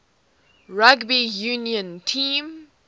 rugby union team